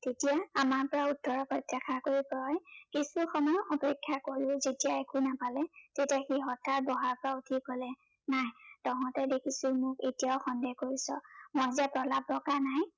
তেতিয়া, আমাৰ পৰা উত্তৰৰ কৰি জয়ে কিছুসময় অপেক্ষা কৰিও যেতিয়া একো নাপালে, তেতিয়া সি হঠাৎ বহাৰ পৰা উঠি কলে, নাই তহঁতে দেখিছো মোক এতিয়াও সন্দেহ কৰিছ, মই যে প্ৰলাপ বকা নাই